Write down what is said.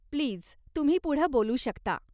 Please, तुम्ही पुढं बोलू शकता.